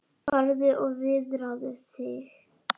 Farðu og viðraðu þig